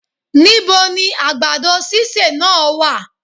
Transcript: Níboni àgbàdo sísè náà wá?